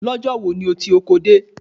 Lọ́jọ́ wo ni o ti oko dé?